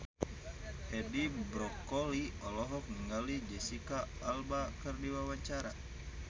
Edi Brokoli olohok ningali Jesicca Alba keur diwawancara